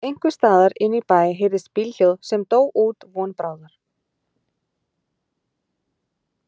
Einhversstaðar inní bæ heyrðist bílhljóð sem dó út von bráðar.